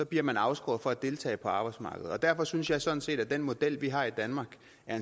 bliver man afskåret fra at deltage på arbejdsmarkedet derfor synes jeg sådan set at den model vi har i danmark